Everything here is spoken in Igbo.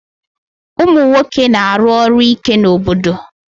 Ụmụ nwoke na-aru ọrụ ike n'obodo